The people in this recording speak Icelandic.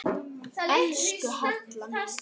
Elsku Halla mín.